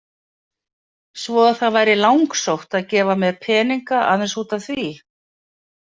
Svo að það væri langsótt að gefa mér peninga aðeins út af því.